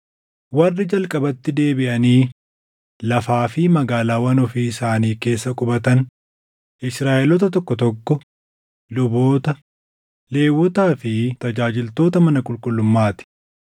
Warri jalqabatti deebiʼanii lafaa fi magaalaawwan ofii isaanii keessa qubatan Israaʼeloota tokko tokko, luboota, Lewwotaa fi tajaajiltoota mana qulqullummaa ti.